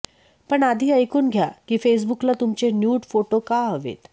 पण आधी ऐकून घ्या की फेसबुकला तुमचे न्यूड फोटो का हवेत